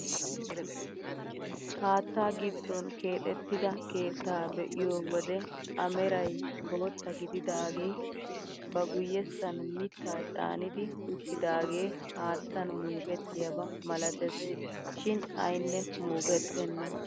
Haattaa giddon keexettida keettaa be'iyoo wode a meray bootta gididagee ba guyessan miittaa caanidi uttidagee haattan muukettiyaaba malates shin aynne muukettena!